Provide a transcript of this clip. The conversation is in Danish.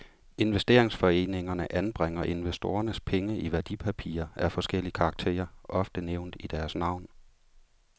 Investeringsforeningerne anbringer investorernes penge i værdipapirer af forskellig karakter, ofte nævnt i deres navn.